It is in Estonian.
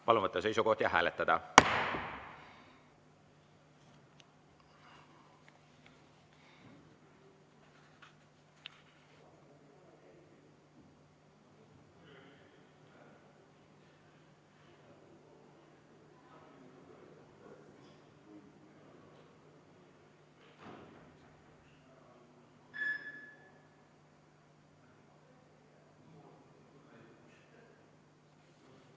Palun võtta seisukoht ja hääletada!